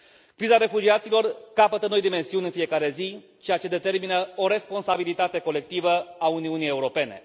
Criza refugiaților capătă noi dimensiuni în fiecare zi, ceea ce determină o responsabilitate colectivă a Uniunii Europene.